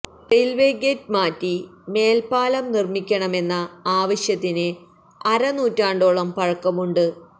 railway gate മാറ്റി മേൽപ്പാലം നിർമ്മിക്കണമെന്ന ആവശ്യത്തിന് അര നൂറ്റാണ്ടോളം പഴക്കമുണ്ട്